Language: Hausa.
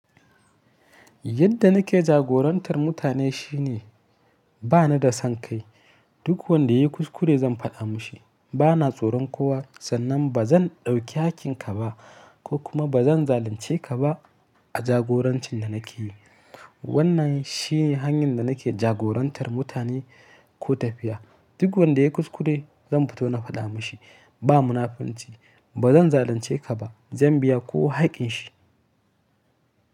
Yadda nake jagorantar mutane shine ba ni da son kai. Duk wanda ya yi kuskure zan faɗa mashi. Bana tsoron kowa sannan ba zan ɗauki hakinka ba ko kuma ba zan zalunce ka ba a jagorancin da nake yi. Wannan shi ne hanyar da nake jagorantar mutane ko tafiya. Duk wanda ya yi kuskure zan fito na faɗa mashi. Ba munafunci, ba zan zalunce ka ba. Zan biya kowa hakƙin shi.